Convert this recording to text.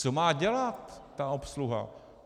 Co má dělat ta obsluha?